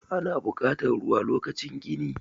ana bukatar ruwa lokacin gini